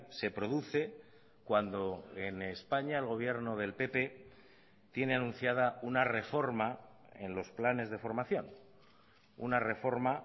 se produce cuando en españa el gobierno del pp tiene anunciada una reforma en los planes de formación una reforma